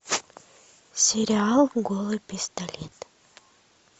сериал голый пистолет